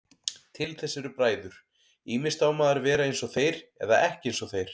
Til þess eru bræður, ýmist á maður að vera einsog þeir eða ekki einsog þeir.